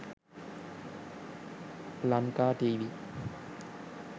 lankatv